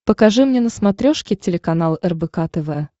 покажи мне на смотрешке телеканал рбк тв